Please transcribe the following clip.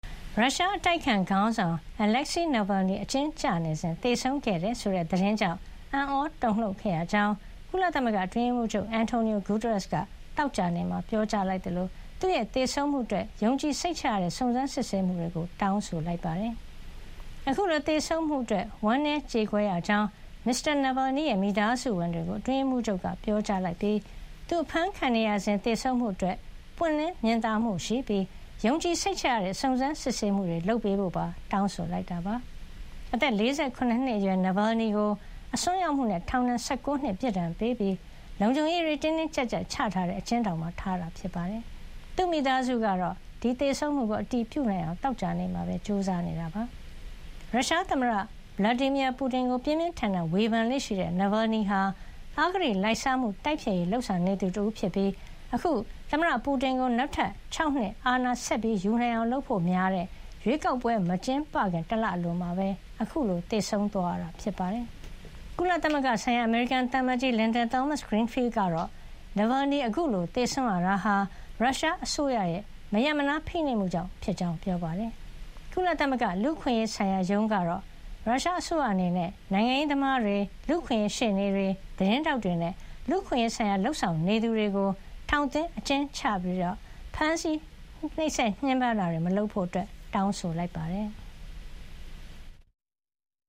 ရုရှားအတိုက်အခံ ခေါင်းဆောင် Alexei Navalny အကျဉ်းကျနေစဉ် သေဆုံးခဲ့တယ်ဆိုတဲ့ သတင်းကြောင့် အံ့သြတုန်လှုပ်ခဲ့ရကြောင်း ကုလအတွင်းရေးမှုးချုပ် Antonio Guterres က သောကြာနေ့မှာ ပြောကြားလိုက်သလို သူ့ရဲ့ သေဆုံးမှုအတွက် ယုံကြည်စိတ်ချရတဲ့ စုံစမ်းစစ်ဆေးမှုတွေ လုပ်ဖို့ တောင်းဆိုလိုက်ပါတယ်။ အခုလို သေဆုံးမှုအတွက် ဝမ်းနည်းကျေကွဲရကြောင်း Mr. Navalny ရဲ့ မိသားစုဝင်တွေကို အတွင်းရေးမှုးချုပ်က ပြောကြားလိုက်ပြီး သူ အဖမ်းခံနေရစဉ် သေဆုံးမှုအတွက် ပွင့်လင်းမြင်သာမှုရှိပြီး ယုံကြည်စိတ်ချရတဲ့ စုံစမ်းစစ်ဆေးမှုတွေ လုပ်ပေးဖို့ပါ တောင်းဆိုလိုက်တာပါ။ အသက် ၄၇ နှစ်အရွယ် Navalny ကို အစွန်းရောက်မှုနဲ့ ထောင်ဒဏ် ၁၉ နှစ် ပြစ်ဒဏ်ပေးပြီး လုံခြုံရေးတင်းတင်း ကြပ်ကြပ်ချထားတဲ့ အကျဉ်းထောင်မှာ ထားရှိတာပါ။ သူ့မိသားစုကတော့ သူရဲ့ သေဆုံးမှုကို အတည်ပြုနိုင်အောင် သောကြာနေ့မှာ ကြိုးစားနေပါတယ်။ ရုရှားသမ္မတ Vladimir Putin ကို ပြင်းပြင်းထန်ထန် ဝေဖန်လေ့ရှိတဲ့ Navalny ဟာ အဂတိလိုက်စားမှု တိုက်ဖျက်ရေးလုပ်ဆောင်နေသူဖြစ်ပြီး အခု သမ္မတ Putin ကို နောက်ထပ် ၆ နှစ် အာဏာဆက်ယူနိုင်အောင် လုပ်ဖို့များတဲ့ ရွေးကောက်ပွဲ မကျင်းပခင် တလအလိုမှာ အခုလို သေဆုံးခဲ့ရတာ ဖြစ်ပါတယ်။ ကုလသမဂ္ဂဆိုင်ရာ အမေရိကန်သံအမတ်ကြီး Linda Thomas-Greenfield ကတော့ Navalny အခုလို သေဆုံးရတာဟာ ရုရှားအစိုးရရဲ့ မရပ်မနား ဖိနှိပ်မှုကြောင့်ဖြစ်ကြောင်း ပြောပါတယ်။ ကုလသမဂ္ဂ လူ့အခွင့်ရေးဆိုင်ရာရုံးကတော့ ရုရှားအစိုးရအနေနဲ့ နိုင်ငံရေးသမားတွေ၊ လူ့အခွင့်ရေး ရှေ့နေတွေ၊ သတင်းထောက်တွေနဲ့ လူ့အခွင့်ရေးဆိုင်ရာ လုပ်ဆောင်နေသူတွေကို ထောင်သွင်းအကျဉ်းချတာ၊ ဖိနှိပ်ညှင်းပမ်းတာတွေ မလုပ်ဖို့ တောင်းဆိုလိုက်ပါတယ်။